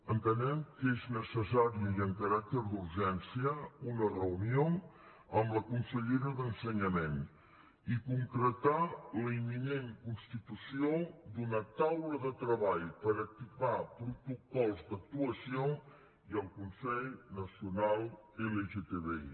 entenem que és necessari i amb caràcter d’urgència una reunió amb la consellera d’ensenyament i concretar la imminent constitució d’una taula de treball per activar protocols d’actuació i el consell nacional lgtbi